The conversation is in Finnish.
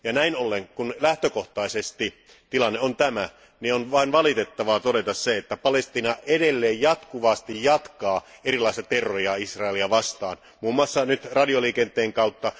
Ja näin ollen, kun lähtökohtaisesti tilanne on tämä, on vain valitettavasti todettava, että Palestiina edelleen jatkuvasti jatkaa erilaista terroria Israelia vastaan, muun muassa nyt radioliikenteen kautta.